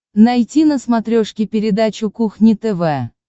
найти на смотрешке передачу кухня тв